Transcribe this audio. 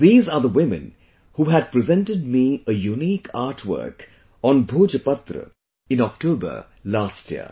These are the women who had presented me a unique artwork on Bhojpatra in October last year